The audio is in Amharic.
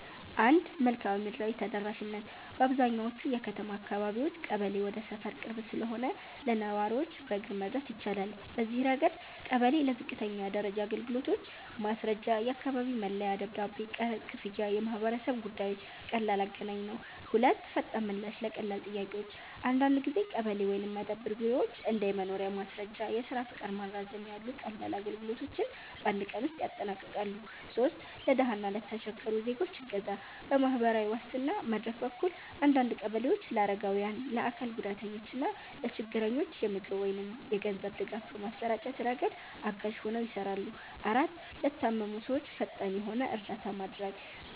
1. መልክዓ ምድራዊ ተደራሽነት - በአብዛኛዎቹ የከተማ አካባቢዎች ቀበሌ ወደ ሰፈር ቅርብ ስለሆነ ለነዋሪዎች በእግር መድረስ ይቻላል። በዚህ ረገድ ቀበሌ ለዝቅተኛ ደረጃ አገልግሎቶች (ማስረጃ፣ የአካባቢ መለያ ደብዳቤ፣ ቀረጥ ክፍያ፣ የማህበረሰብ ጉዳዮች) ቀላል አገናኝ ነው። 2. ፈጣን ምላሽ ለቀላል ጥያቄዎች - አንዳንድ ጊዜ ቀበሌ ወይም መደብር ቢሮዎች እንደ የመኖሪያ ማስረጃ፣ የስራ ፈቃድ ማራዘሚያ ያሉ ቀላል አገልግሎቶችን በአንድ ቀን ውስጥ ያጠናቅቃሉ። 3. ለድሃ እና ለተቸገሩ ዜጎች እገዛ - በማህበራዊ ዋስትና መድረክ በኩል አንዳንድ ቀበሌዎች ለአረጋውያን፣ ለአካል ጉዳተኞች እና ለችግረኞች የምግብ ወይም የገንዘብ ድጋፍ በማሰራጨት ረገድ አጋዥ ሆነው ይሰራሉ። 4, ለታመሙ ሰዎች ፈጣን የሆነ እርዳታ ማድረግ